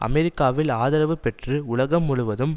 அமெரிக்காவில் ஆதரவு பெற்று உலகம் முழுவதும்